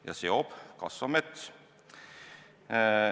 Ja seob kasvav mets.